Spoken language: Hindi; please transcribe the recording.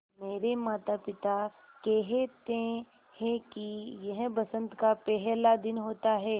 मेरे माता पिता केहेते है कि यह बसंत का पेहला दिन होता हैँ